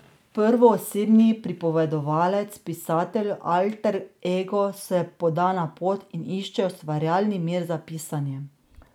Prvoosebni pripovedovalec, pisateljev alter ego, se poda na pot in išče ustvarjalni mir za pisanje.